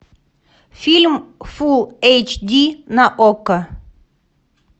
фильм фул эйч ди на окко